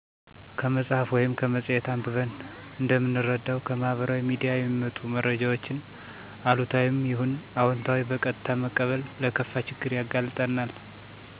ከመፅሀፍ ወይም ከመፅሔት አንብበን እንደምንረዳው ከማህበራዊ ሚዲያ የሚመጡ መረጃወችን አሉታዊም ይሁን አወንታዊ በቀጥታ መቀበል ለከፋ ችግር ያጋልጠናል።